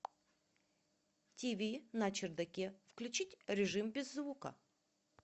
тиви на чердаке включить режим без звука